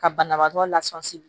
Ka banabaatɔ lasɔsi